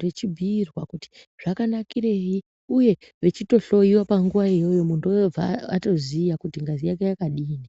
vechibhiirwa kuti zvakanakirei uye vechitohloyiwa panguva iyoyo muntuwo obva atoziya kuti ngazi yaje yakadini.